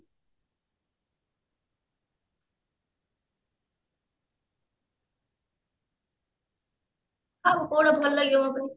କହୁନୁ କୋଉଟା ଭଲ ଲାଗିବ ମୋ ପାଇଁ